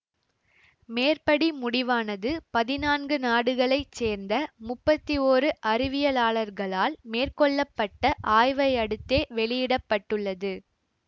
மேற்படி முடிவானது பதினான்கு நாடுகளை சேர்ந்த முப்பத்தி ஒரு அறிவியலாளர்களால் மேற்கொள்ள பட்ட ஆய்வையடுத்தே வெளியிட பட்டுள்ளது